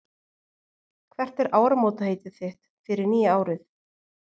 Hvert er áramótaheitið þitt fyrir nýja árið?